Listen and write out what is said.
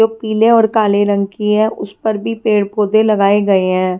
जो पीले और काले रंग की है उसपर भी पेड़ पौधे लगाए गए है।